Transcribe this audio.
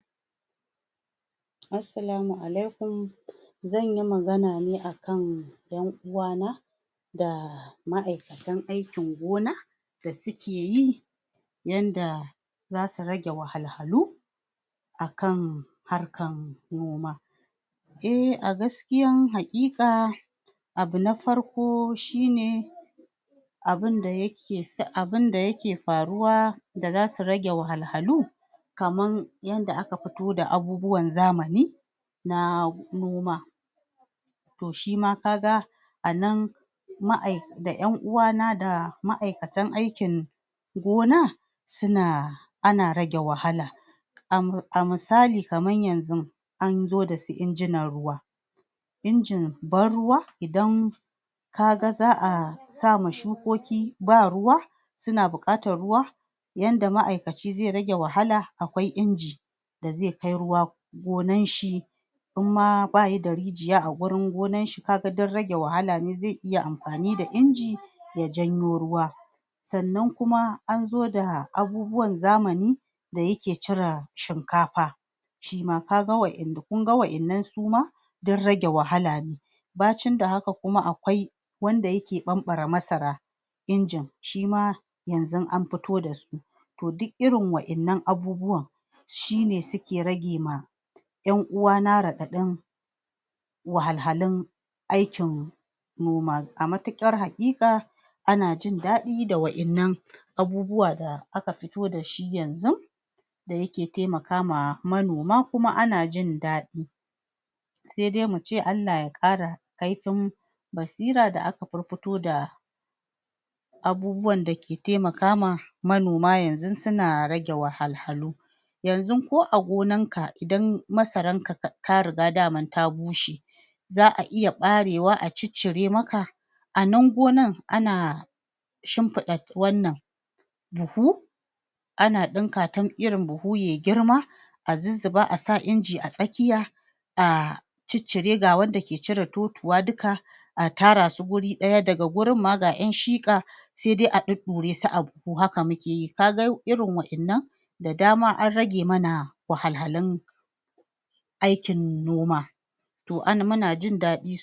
Assalamu aklaikum. Zan yi magana ne a kan ƴan uwana da ma'aikatan aikin gona da suke yi, yanda za su rage wahalhalu a kan harkar noma E, a gaskiyan haƙiƙa, abu na farko shi ne abun da yake, abun da yake faruwa da za su rage wahalhalu kamar yadda aka fito da abubuwan zamani na noma to shi ma ka ga a nan da ƴan uwana da ma'aikatan aikin gona suna ana rage wahala A misali, kamar yanzu an zo da su injinan ruwa injin ban-ruwa, idan ka ga za a sa ma shukokiba ruwa suna buƙatar ruwa yanda ma'aikaci zai rage wahala, akwai inji da zai kai ruwa gonan shi In ma ba yi da rijiya a wurin gonar shi ka ga duk rage wahala ne, zai iya amfani da inji ya janyo ruwa Sannan kuma an zo da abubuwan zamani da yake cire shinkafa shi ma ka ga wa'innan, kun ga wa'innan su ma duk rage wahala ne Bacin da haka kuma akwai wanda yake ɓamɓare masara injin, shi ma yanzun an fito da su. To duk irin waɗannan abubuwan shi ne suke rage ma ƴan uwana raɗaɗin wahalhalun aikin noma, a matuƙar haƙiƙa ana jin daɗi da waɗannan abubuwa da aka fito da shi yanzun da yake taimaka ma manoma kuma ana jin daɗi Sai dai mu ce Allah Ya ƙara kaifin basira da aka furfuto da abubuwan da ke taimaka ma manoma yanzun suna rage wahalhalu Yanzun ko a gonanka idan masaranka ta riga daman ta bushe za a iya ɓarewa a ciccire maka a nan gonan ana shimfiɗa wannan buhu ana ɗinka ta irin buhu ya yi girma a zuzzuba a sa inji a tsakiya a ciccire ga wadda ke cire totuwa duka, a tara su guri ɗaya, daga wurin ma ga ƴan shiƙa sai dai a ɗuɗɗure su a buhu, haka muke yi, ka ga irin waɗannan da dama an rage mana wahalhalun aikin noma to muna jin ɗadi.